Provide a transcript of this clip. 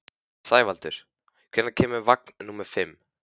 Sævaldur, hvenær kemur vagn númer fimm?